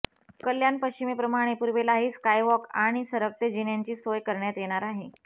कल्याण पश्चिमेप्रमाणे पूर्वेलाही स्कायवॉक आणि सरकते जिन्यांची सोय करण्यात येणार आहे